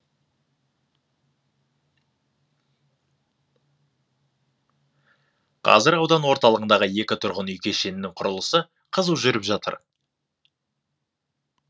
қазір аудан орталығындағы екі тұрғын үй кешенінің құрылысы қызу жүріп жатыр